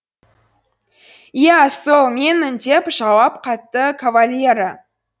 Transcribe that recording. иә сол менмін деп жауап қатты кавальеро